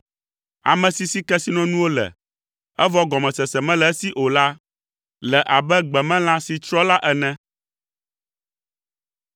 Ame si si kesinɔnuwo le, evɔ gɔmesese mele esi o la le abe gbemelã si tsrɔ̃ la ene.